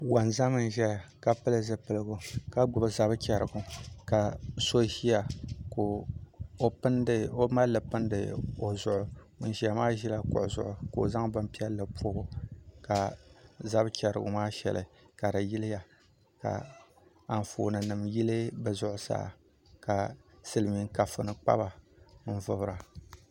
Wonzam n ʒɛya ka pili zipiligu ka gbubi zab chɛrigu ka so ʒiya ka o malili pindi o zuɣu ŋun ʒiya maa ʒila kuɣu zuɣu ka o zaŋ bin piɛlli pobo ka zab chɛrigu maa shɛli ka di yiliya ka Anfooni nim yili bi zuɣusaa ka silmiin kafuni kpaba n vubira